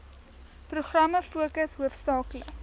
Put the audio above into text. programme fokus hoofsaaklik